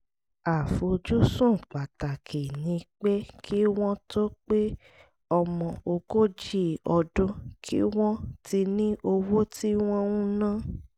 àfojúsùn pàtàkì ni pé kí wọ́n tó pe ọmọ ogójì ọdún kí wọ́n ti ní owó tí wọ́n ń ná